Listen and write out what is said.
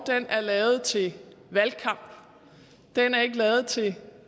er lavet til valgkamp den er ikke lavet til